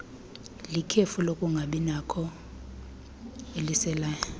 likhefu lokungabinakho eliseleyo